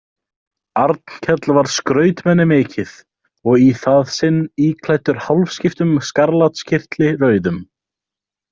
Arnkell var skrautmenni mikið og í það sinn íklæddur hálfskiptum skarlatskyrtli rauðum.